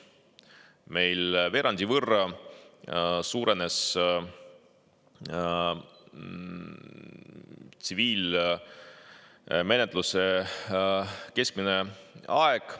Meil veerandi võrra suurenes tsiviilmenetluse keskmine aeg.